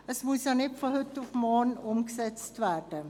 es muss nicht von heute auf morgen umgesetzt werden.